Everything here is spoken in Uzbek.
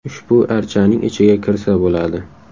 Ushbu archaning ichiga kirsa bo‘ladi.